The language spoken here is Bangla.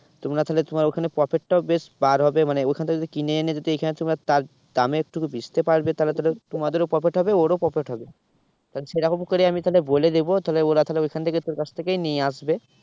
তোমরা তাহলে তোমার ওখানে profit টাও বেশ পার হবে মানে ওখান থেকে যদি কিনে এনে যদি এখানে তোমরা দামে একটুকু বেচতে পারবে তাহলে, তাহলে তোমাদেরও profit হবে ওরও profit হবে। তাহলে সে রকম করে আমি তাহলে বলে দেবো তাহলে ওরা তাহলে ওখান থেকেই তোর কাছ থেকেই নিয়ে আসবে।